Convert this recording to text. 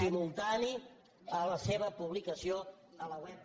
simultànies a la seva publicació a la web del